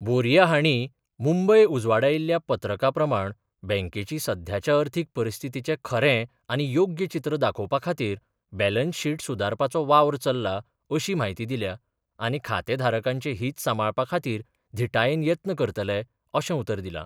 बोरिया हांणी मुंबय उजवाडायिल्ल्या पत्रका प्रमाण बँकेची सध्याच्या अर्थीक परिस्थितीचें खरें आनी योग्य चीत्र दाखोवपा खातीर बॅलंस शीट सुदारपाचो वावर चल्ला अशी म्हायती दिल्या आनी खातेधारकांचे हीत सांबाळपा खातीर धिटायेन येत्न करतले अशें उतर दिलां.